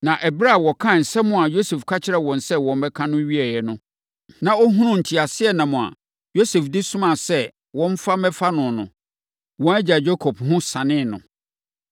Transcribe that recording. Na ɛberɛ a wɔkaa nsɛm a Yosef ka kyerɛɛ wɔn sɛ wɔmmɛka no wieeɛ no, na ɔhunuu nteaseɛnam a Yosef de somaa sɛ wɔmfa mmɛfa no no, wɔn agya Yakob ho sanee no.